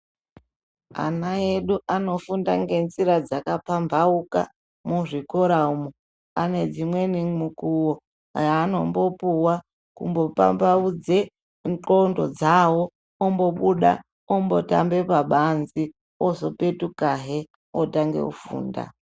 Ana edu anofunda ngenzira dzakapambauka muzvikoramo ane dzimweni mukuwo dzaanombopuwa kupambaudze ndxondo dzawo ombobuda ombotambe pabanze opetukahe otamba orange kufunda